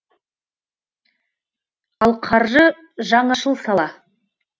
ал қаржы жаңашыл сала